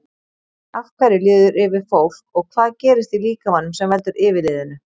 Af hverju líður yfir fólk og hvað gerist í líkamanum sem veldur yfirliðinu?